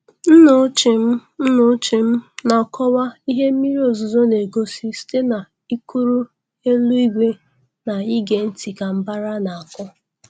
Nna ochie m Nna ochie m na-akọwa ihe mmiri ozuzo na-egosi site n'ikiri elu igwe na ịge ntị ka mbàrá na-akụ.